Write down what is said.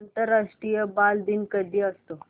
आंतरराष्ट्रीय बालदिन कधी असतो